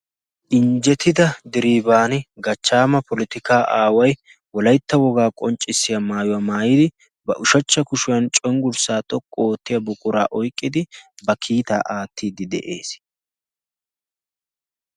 Injjetida diriban gachchaama politikka aawai wolaitta wogaa qonccissiya maayuwaa maayidi ba ushachcha kushuwan cenggurssaa xoqqu oottiya buquraa oiqqidi ba kiitaa aattiiddi de'ees.